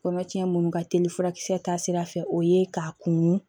Kɔnɔcɛ minnu ka teli furakisɛ ta sira fɛ o ye k'a kunun